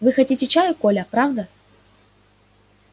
вы хотите чаю коля правда